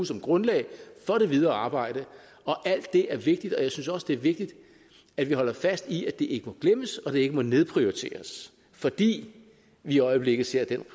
som grundlag for det videre arbejde alt det er vigtigt og jeg synes også det er vigtigt at vi holder fast i at det ikke må glemmes og det ikke må nedprioriteres fordi vi i øjeblikket ser den